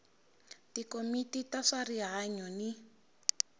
tikomiti ta swa rihanyu ni